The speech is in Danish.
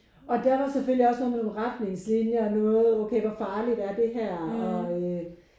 Og der var selvfølgelig også noget med nogen retningslinjer og noget okay hvor farligt er det her og øh